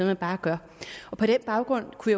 man bare gør på den baggrund kunne